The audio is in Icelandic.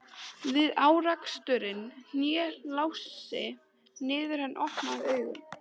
Við áreksturinn hné Lási niður en opnaði augun.